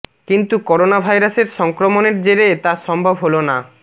কিন্তু করোনা ভাইরাসের সংক্রমণের জেরে তা সম্ভব হলো না